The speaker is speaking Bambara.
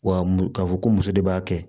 Wa m k'a fɔ ko muso de b'a kɛ